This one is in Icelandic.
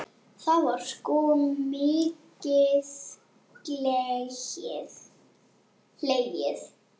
Þá var sko mikið hlegið.